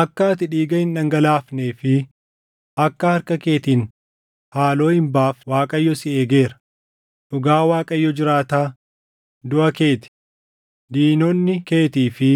Akka ati dhiiga hin dhangalaafnee fi akka harka keetiin haaloo hin baafne Waaqayyo si eegeera; dhugaa Waaqayyo jiraataa; duʼa kee ti; diinonni keetii fi